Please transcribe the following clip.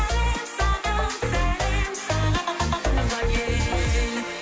сәлем саған сәлем саған туған ел